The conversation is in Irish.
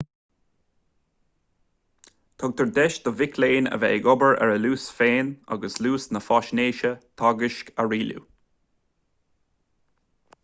tugtar deis do mhic léinn a bheith ag obair ar a luas féin agus luas na faisnéise teagaisc a rialú